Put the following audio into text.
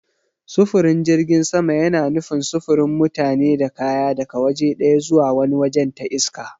Sufurin jirgin sama yana nufin sufurin mutane da kaya daga waje ɗaya zuwa wani wajen ta iska.